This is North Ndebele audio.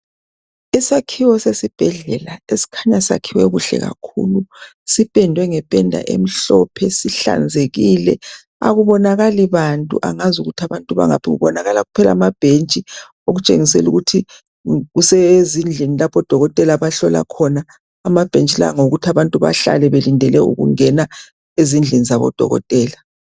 Isakhiwo sesibhedlela esikhanya sakhiwe kuhle kakhulu sipendwe ngependa emhlophe sihlanzekile akubonakali bantu angazi ukuthi abantu bangaphi kubonakala kuphela ababhentshi okutshengisela ukuthi kusezindlini lapho odokotela abahlola khona amabhentshi lawo ngawo kuthi abantu bahlale belindele ukungena ezindlin zabodokotela